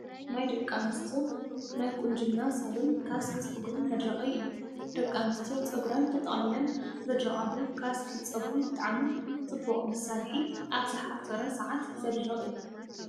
ናይ ደቂ ኣንስትዮ ናይ ቁንጅና ሳሎን ካስክ ፀጉሪ መድረቂ እዩ። ደቂ ኣንስትዮ ፀጉረን ተጠቅሊለን ዘድርቃሉ ካስክ ንፀጉሪ ብጣዕሚ ፅቡቅ መሳርሒ ኣብ ዝሓፀረ ሰዓት ዘድርቅ እዩ።